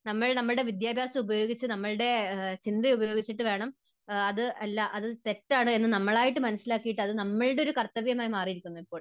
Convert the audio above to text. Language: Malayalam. നമ്മൾ നമ്മുടെ വിദ്യാഭ്യാസം ഉപയോഗിച്ച്, നമ്മുടെ ചിന്ത ഉപയോഗിച്ചിട്ട് വേണം അത് അല്ല, അത് തെറ്റാണ് എന്ന് നമ്മളായിട്ട് മനസ്സിലാക്കിയിട്ട് അത് നമ്മുടെ ഒരു കർത്തവ്യം ആയി മാറിയിരിക്കുന്നു ഇപ്പോൾ.